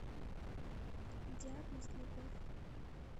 диагноз любовь